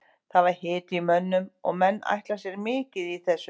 Það var hiti í mönnum og menn ætla sér mikið í þessu.